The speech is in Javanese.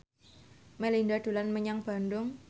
Melinda dolan menyang Bandung